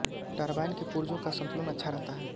turbine के पुर्जों का संतुलन अच्छा रहता है